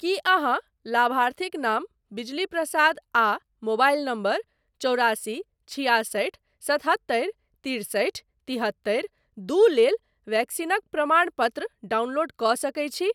की अहाँ लाभार्थीक नाम बिजली प्रसाद आ मोबाइल नंबर चौरासी छिआसठि सतहत्तरि तिरसठि तिहत्तरि दू लेल वैक्सीनक प्रमाणपत्र डाउनलोड कऽ सकैत छी ?